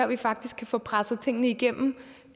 vi faktisk kan få presset tingene igennem